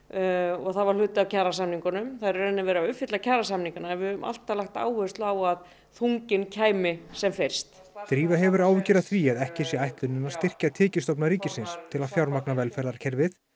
og það var hluti af kjarasamningunum það er í raun og veru verið að uppfylla kjarasamningana en við höfum alltaf lagt áherslu á að þunginn kæmi sem fyrst drífa hefur áhyggjur af því að ekki sé ætlunin að styrkja tekjustofna ríkisins til að fjármagna velferðarkerfið